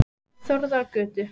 Þórðargötu